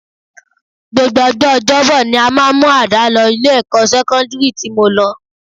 Gbogbo ọjọ́ ọjọ́bọ ni a máa ń mú àdá lọ ilé-ẹ̀kọ́ sẹ́kọ́ndírì tí mo lọ